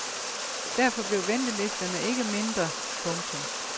Derfor blev ventelisterne ikke mindre. punktum